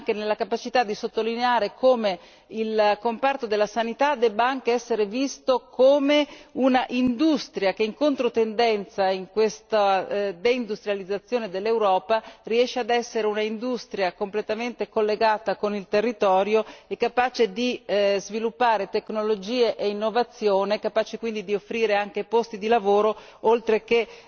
Ma è importante anche la capacità di sottolineare come il comparto della sanità debba essere visto come un'industria che, in controtendenza in questa deindustrializzazione dell'Europa, riesce ad essere un'industria completamente collegata con il territorio e capace di sviluppare tecnologie e innovazione, capace quindi anche di offrire posti di lavoro oltre che